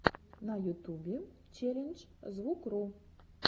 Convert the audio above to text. на ютубе челлендж звукру